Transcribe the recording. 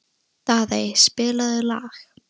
Daðey, spilaðu lag.